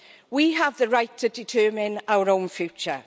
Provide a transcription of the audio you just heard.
We have the right to determine our own future.